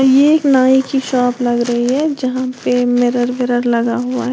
ये एक नाई की शॉप लग रही है जहां पे मिरर वीरर लगा हुआ है।